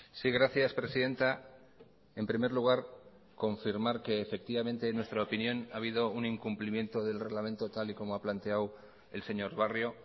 sí gracias presidenta en primer lugar confirmar que efectivamente en nuestra opinión ha habido un incumplimiento del reglamento tal y como ha planteado el señor barrio